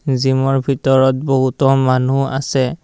Gym ৰ ভিতৰত বহুতো মানুহ আছে।